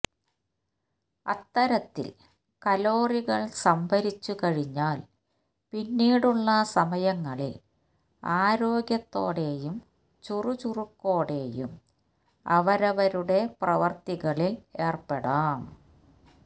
അത്തരത്തിൽ കലോറികൾ സംഭരിച്ചുകഴിഞ്ഞാൽ പിന്നീടുള്ള സമയങ്ങളിൽ ആരോഗ്യത്തോടെയും ചുറുചുറുക്കോടെയും അവരവരുടെ പ്രവർത്തികളിൽ ഏർപ്പെടാം